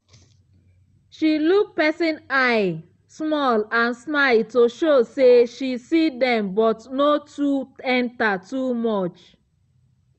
she look person eye small and smile to show say she see dem but no too enter too much.